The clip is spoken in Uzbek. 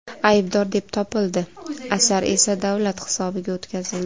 aybdor deb topildi, asar esa davlat hisobiga o‘tkazildi.